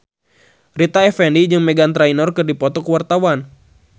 Rita Effendy jeung Meghan Trainor keur dipoto ku wartawan